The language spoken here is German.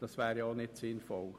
Dies wäre auch nicht sinnvoll.